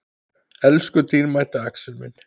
Elsku dýrmæti Axel minn.